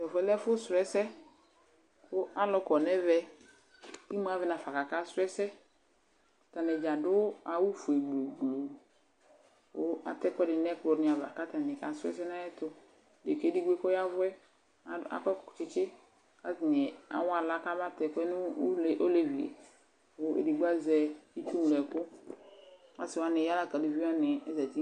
Tʋ ɛfʋ yɛ lɛ ɛfʋsʋ ɛsɛ kʋ alʋ kɔ nʋ ɛvɛ kʋ imu avɛ nafa kʋ akasʋ ɛsɛ Atanɩ dza adʋ awʋfue gblu kʋ atɛ ɛkʋdɩnɩ nʋ ɛkplɔnɩ ava kʋ atanɩ kasʋ ɛsɛ nʋ ayɛtʋ Dekǝ yɛ edigbo yɛ kʋ ɔya ɛvʋ yɛ adʋ akɔ ɛk tsɩtsɩ kʋ atanɩ awa aɣla kabatɛ ɛkʋ yɛ nʋ olevi yɛ kʋ edigbo azɛ itsuŋlo ɛkʋ Asɩ wanɩ ya la kʋ aluvi wanɩ azati